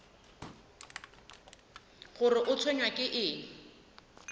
gore o tshwenywa ke eng